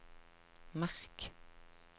merk